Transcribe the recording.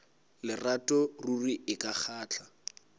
lerato ruri e ka kgahla